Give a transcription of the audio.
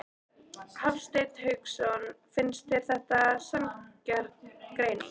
Hafsteinn Hauksson: Finnst þér þetta sanngjörn greining?